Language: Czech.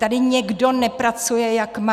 Tady někdo nepracuje, jak má!